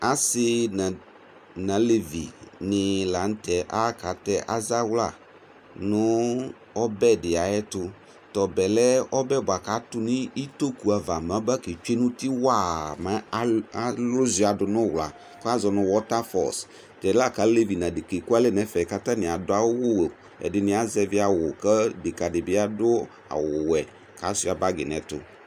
Asi nalevi ni laŋtɛ akatɛ azawla nʋ ɔbɛ di yɛtu Tɔbɛ lɛ ɔbɛ di buakʋ atu nʋ itoku ava maba ketsoe nuti waaa mɛ alʋ uzuia dunʋ uwlaKazɔ nu water falls Tɛla kalevi nadeka ekualɛ nɛfɛ katani adʋ awu Ɛdini azɛvi awu , kʋ deka dibi adʋ awu wɛ Kasuia bagi nɛtu